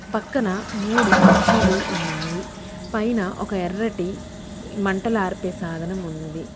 పక్కన మూడు కుర్చీలు ఉన్నాయి పైన ఒక ఎర్రటి మంటలార్పే సాధనం ఉన్నది.